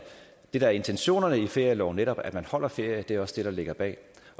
er intentionerne i ferieloven netop at man holder ferie er også det der ligger bag